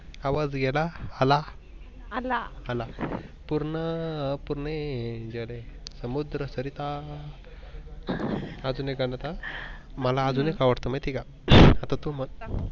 आवाज गेला आला, पूर्ण पुरने जर्हीव समूद्र सरिता आजून एक गान होत मला आजून एक आवडतो माहित आहे का आता तू मन